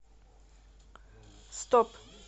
стоп